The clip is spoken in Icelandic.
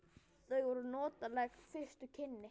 Það voru notaleg fyrstu kynni.